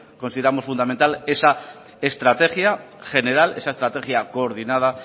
consideramos fundamental esa estrategia general esa estrategia coordinada